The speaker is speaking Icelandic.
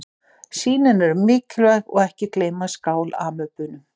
Sýnin eru mikilvæg og ekki gleyma skál-amöbunum.